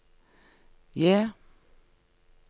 J